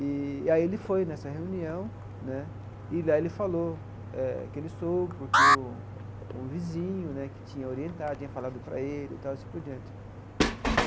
Eee e aí ele foi nessa reunião, né, e lá ele falou eh que ele soube porque o o vizinho, né, que tinha orientado, tinha falado para ele e tal, e assim por diante.